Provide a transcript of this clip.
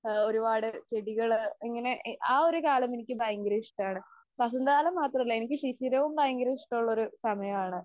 ആ ഒരുപാട് ചെടികള്, ഇങ്ങനെ ആ ഒരു കാലം എനിക്ക് ഭയങ്കര ഇഷ്ടമാണ്. വസന്തകാലം മാത്രമല്ല എനിക്ക് ശിശിരവും ഭയങ്കര ഇഷ്ടമുള്ള ഒരു സമയമാണ്.